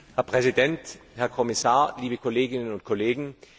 Herr Präsident, Herr Kommissar, liebe Kolleginnen und Kollegen!